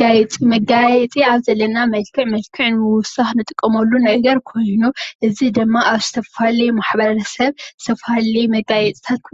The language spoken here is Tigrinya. መጋየፂ መጋየፂ ኣብ ዘለና መልክዕ መልክዕ ንምውሳኽ ዝጠቁሙሉ ነገር ኾይኑ እዚ ድማ ኣብ ዝተፈላለዩ ማሕበረሰብ ዝተፈላለዩ መጋየፅታት